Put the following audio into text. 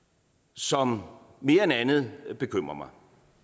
som mere end andet bekymrer mig